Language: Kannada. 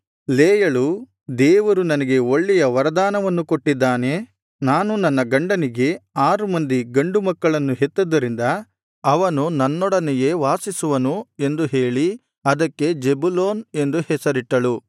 ಲೇಯಳು ದೇವರು ನನಗೆ ಒಳ್ಳೆಯ ವರದಾನವನ್ನು ಕೊಟ್ಟಿದ್ದಾನೆ ನಾನು ನನ್ನ ಗಂಡನಿಗೆ ಆರು ಮಂದಿ ಗಂಡು ಮಕ್ಕಳನ್ನು ಹೆತ್ತದ್ದರಿಂದ ಅವನು ನನ್ನೊಡನೆಯೇ ವಾಸಿಸುವನು ಎಂದು ಹೇಳಿ ಅದಕ್ಕೆ ಜೆಬುಲೂನ್ ಎಂದು ಹೆಸರಿಟ್ಟಳು